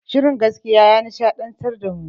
Shirin gaskiya ya nishaɗantar da mu